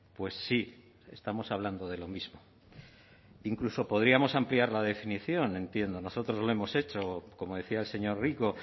pues sí estamos hablando de lo mismo incluso podríamos ampliar la definición entiendo nosotros lo hemos hecho como decía el señor rico